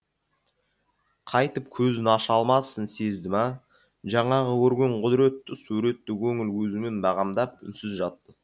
қайтып көзін аша алмасын сезді ме жаңағы көрген құдіретті суретті көңіл көзімен бағамдап үнсіз жатты